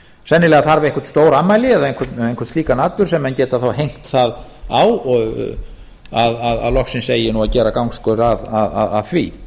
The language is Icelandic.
sennilega þarf eitthvert stórafmæli eða einhvern slíkan atburð sem menn geta þá hengt það á að loksins eigi nú að gera gangskör að því